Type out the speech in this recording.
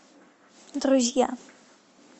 друзья